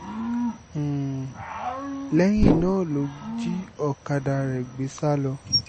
um lẹ́yìn náà ló jí ọ̀kadà rẹ̀ gbé sá lọ